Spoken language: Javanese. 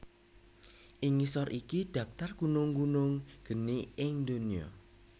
Ing ngisor iki dhaptar gunung gunung geni ing donya